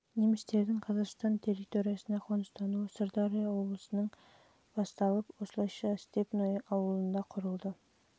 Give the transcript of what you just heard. немістердің қазақстан территориясына қоныстануы сырдария облысынан басталған еді осылайша степное ауылы құрылды жылы сырдария облысындағы неміс